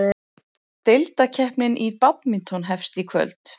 Deildakeppnin í badminton hefst í kvöld